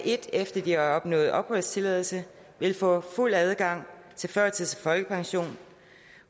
et efter at de har opnået opholdstilladelse vil få fuld adgang til førtids og folkepension